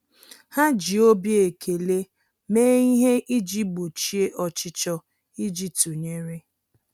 Há jì obi ekele méé ihe iji gbochie ọchịchọ íjí tụnyere.